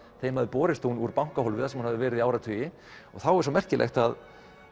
þeim hafði borist hún úr bankahólfi þar sem hún verið í áratugi og þá er svo merkilegt að